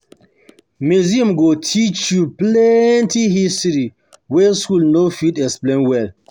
Museum go teach you plenty history wey school no dey fit explain well.